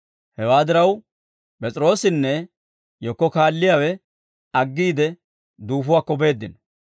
Hewaa diraw, P'es'iroosinne yekko kaalliyaawe aggiide, duufuwaakko beeddino.